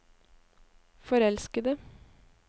forelskede